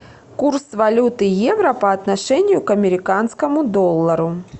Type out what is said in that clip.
курс валюты евро по отношению к американскому доллару